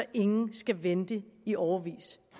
ingen skal vente i årevis